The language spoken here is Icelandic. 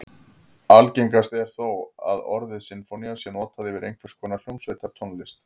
Algengast er þó að orðið sinfónía sé notað yfir einhvers konar hljómsveitartónlist.